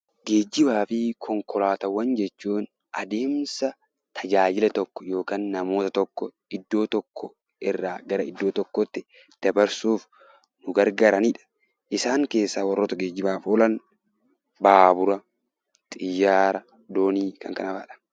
Geejjibaa fi konkolaataawwan jechuun adeemsa tajaajila tokko yookaan namoota tokko iddoo tokko irraa gara iddoo tokkootti dabarsuuf nu gargaaranidha. Isaan keessa warroota geejjibaaf oolan baabura, xiyyaara, doonii Kan kanafa'adha.